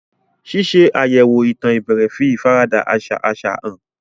Ṣíṣe àyẹ̀wò ìtàn ìbẹ̀rẹ̀ fi ìfaradà àṣà àṣà hàn.